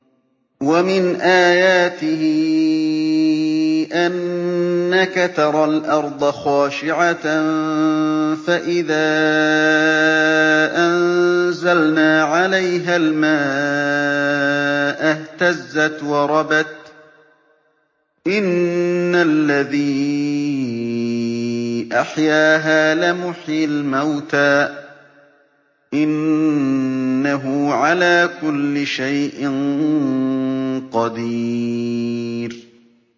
وَمِنْ آيَاتِهِ أَنَّكَ تَرَى الْأَرْضَ خَاشِعَةً فَإِذَا أَنزَلْنَا عَلَيْهَا الْمَاءَ اهْتَزَّتْ وَرَبَتْ ۚ إِنَّ الَّذِي أَحْيَاهَا لَمُحْيِي الْمَوْتَىٰ ۚ إِنَّهُ عَلَىٰ كُلِّ شَيْءٍ قَدِيرٌ